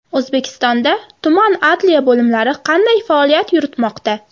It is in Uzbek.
O‘zbekistonda tuman adliya bo‘limlari qanday faoliyat yuritmoqda?.